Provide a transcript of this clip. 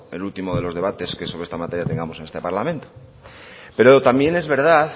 el último de los debates que sobre esta materia tengamos en este parlamento pero también es verdad